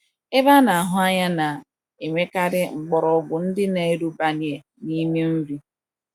Ebe ana - ahụ anya na - enwekarị mkpọrọgwụ ndị na - erubanye n’ime nri.